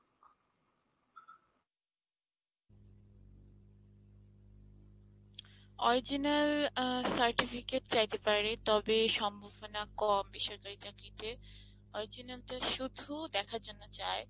original আ Certificate চাইতে পারে তবে সম্ভাবনা কম, বেসরকারি চাকরিতে। original তো শুধু দেখার জন্য চায়।